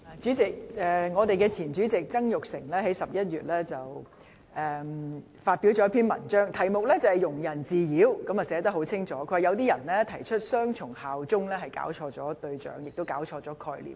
主席，前立法會主席曾鈺成在11月發表了一篇題為"庸人自擾"的文章，清楚指出提出雙重效忠的人是搞錯了對象，亦搞錯了概念。